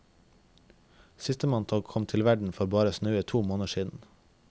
Sistemann kom til verden for bare snaue to måneder siden.